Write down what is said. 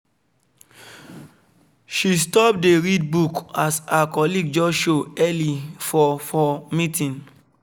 she stop dey read book as her colleague just show early for for meeting